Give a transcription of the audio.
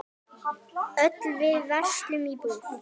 Öll við verslum í búð.